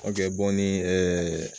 nin ɛɛ